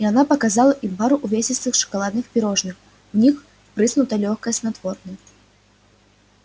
и она показала им пару увесистых шоколадных пирожных в них впрыснуто лёгкое снотворное